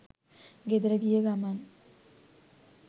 ගෙදර ගිය ගමන්